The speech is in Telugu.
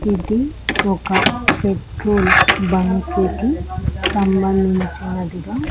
ఇది ఒక పెట్రోల్ బంకి కి సంబంధించినదిగా--